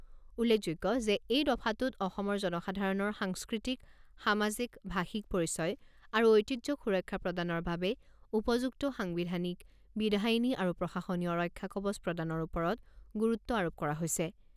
উল্লেখযোগ্য যে এই দফাটোত অসমৰ জনসাধাৰণৰ সাংস্কৃতিক, সামাজিক, ভাষিক পৰিচয় আৰু ঐতিহ্যক সুৰক্ষা প্ৰদানৰ বাবে উপযুক্ত সাংবিধানিক, বিধায়িনী আৰু প্ৰশাসনীয় ৰক্ষাকবচ প্ৰদানৰ ওপৰত গুৰুত্ব আৰোপ কৰা হৈছে।